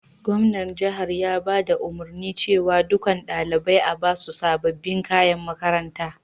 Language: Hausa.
Gwamnan jihar ya baɗa umurni cewa ɗukan ɗalibain a'basu sabobin kayan makaranta.